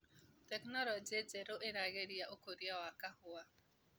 Teknologĩ njerũ ĩragĩria ũkũria wa kahũa.